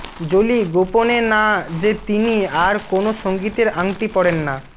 Jolie গোপনে না যে তিনি আর কোন সঙ্গীতের আংটি পরেন না